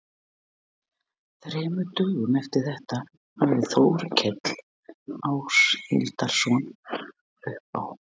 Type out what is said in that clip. Þremur dögum eftir þetta hafði Þórkell Áshildarson uppi á